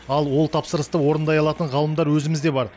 ал ол тапсырысты орындай алатын ғалымдар өзімізде бар